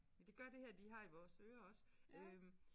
Og det gør det her de har i vores ører også øh